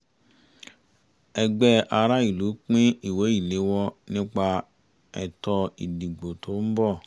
ẹgbẹ́ aráàlú pín ìwé ìléwọ́ nípa ẹ̀tọ́ ìdìbò tó ń bọ̀